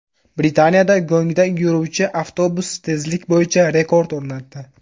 Britaniyada go‘ngda yuruvchi avtobus tezlik bo‘yicha rekord o‘rnatdi.